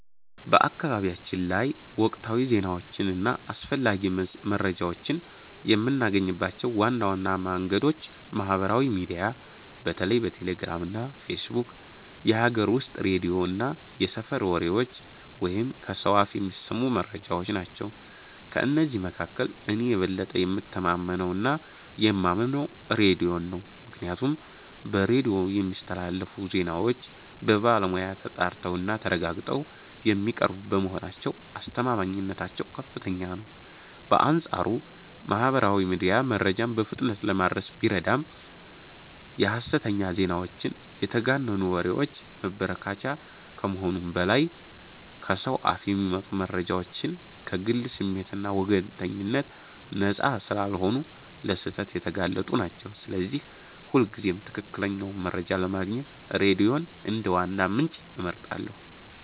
በአካባቢያችን ላይ ወቅታዊ ዜናዎችን እና አስፈላጊ መረጃዎችን የምናገኝባቸው ዋና ዋና መንገዶች ማህበራዊ ሚዲያ (በተለይ ቴሌግራም እና ፌስቡክ)፣ የሀገር ውስጥ ሬዲዮ እና የሰፈር ወሬዎች (ከሰው አፍ የሚሰሙ መረጃዎች) ናቸው። ከእነዚህ መካከል እኔ የበለጠ የምተማመነውና የማምነው ሬዲዮን ነው፤ ምክንያቱም በሬዲዮ የሚስተላለፉ ዜናዎች በባለሙያ ተጣርተውና ተረጋግጠው የሚቀርቡ በመሆናቸው አስተማማኝነታቸው ከፍተኛ ነው። በአንጻሩ ማህበራዊ ሚዲያ መረጃን በፍጥነት ለማድረስ ቢረዳም የሐሰተኛ ዜናዎችና የተጋነኑ ወሬዎች መበራከቻ ከመሆኑም በላይ፣ ከሰው አፍ የሚመጡ መረጃዎችም ከግል ስሜትና ወገንተኝነት ነፃ ስላልሆኑ ለስህተት የተጋለጡ ናቸው፤ ስለዚህ ሁልጊዜም ትክክለኛውን መረጃ ለማግኘት ሬዲዮን እንደ ዋና ምንጭ እመርጣለሁ።